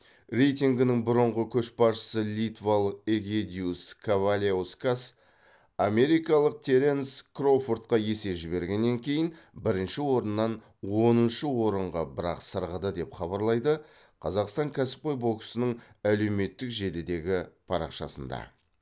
рейтингінің бұрынғы көшбасшысы литвалық эгидиюс каваляускас америкалық теренс кроуфордқа есе жібергеннен кейін бірінші орыннан оныншы орынға бір ақ сырғыды деп хабарлайды қазақстан кәсіпқой боксының әлеуметтік желідегі парақшасында